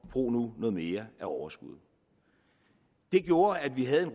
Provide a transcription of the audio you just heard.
bruge noget mere af overskuddet det gjorde at vi havde en